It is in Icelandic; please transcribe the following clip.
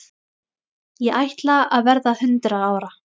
Ég ætla að verða hundrað ára.